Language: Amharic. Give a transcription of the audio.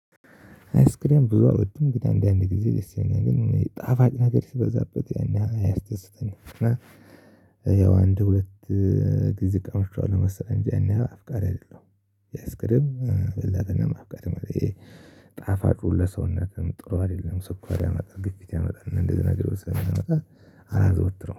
አይስክሬያም ብዙ አልወድም ግን አንዳንዴ ጊዜ ደስ ይለኛል ግን ጣፋጭ ነገር ሲበዛበት ያን ያህል አያስደስተኝም ያው አንድ ሁለት ጊዜ ቀምሻዋለሁ መሰለኝ እንጂ አንድ አፍቃሪ አይደለሁም ያስቅድብ በላቀነ ማብቃት መለየ ጣፋጩ ለሰውነትም ጥሩ አይደለም ስኳር ያመጣል ግፊት ያመጣል እንደዚህ ነገር የለም አላዘወትረውም።